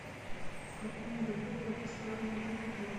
в каком году был построен этот отель